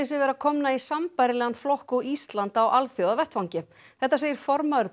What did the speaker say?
sig vera komna í sambærilegan flokk og Ísland á alþjóðavettvangi þetta segir formaður